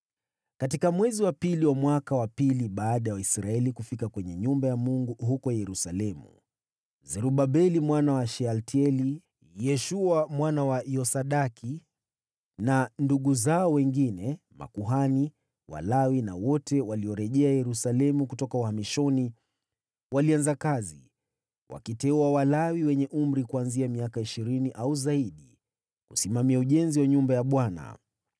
Katika mwezi wa pili wa mwaka wa pili baada ya Waisraeli kufika kwenye nyumba ya Mungu huko Yerusalemu, Zerubabeli mwana wa Shealtieli, Yeshua mwana wa Yosadaki na ndugu zao wengine (makuhani, Walawi na wote waliorejea Yerusalemu kutoka uhamishoni) walianza kazi, wakiteua Walawi wenye umri kuanzia miaka ishirini au zaidi kusimamia ujenzi wa nyumba ya Bwana .